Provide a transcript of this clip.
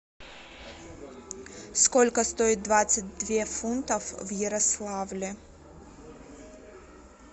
сколько стоит двадцать две фунтов в ярославле